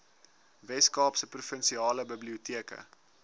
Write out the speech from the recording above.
weskaapse provinsiale biblioteke